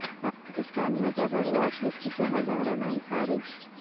پاکستان میں terror watch list سے ہزاروں نام خارج